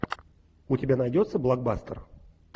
у тебя найдется блокбастер